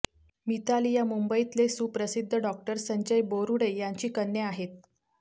मिताली या मुंबईतले सुप्रसिद्ध डॉक्टर संजय बोरुडे यांची कन्या आहेत